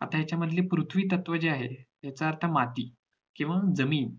आता ह्याच्या मधाळ पृथ्वी तत्व जे आहे याचा अर्थ माती किंवा जमीन